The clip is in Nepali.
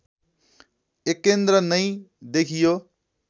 एकेन्द्र नै देखियो